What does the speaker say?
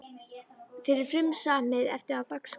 Þá er frumsamið efni á dagskrá.